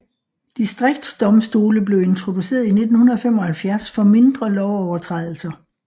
Distriktsdomstole blev introduceret i 1975 for mindre lovovertrædelser